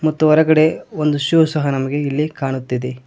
ಮತ್ತು ಹೊರಗಡೆ ಒಂದು ಶೂ ಸಹ ನಮಗೆ ಇಲ್ಲಿ ಕಾಣುತ್ತಿದೆ.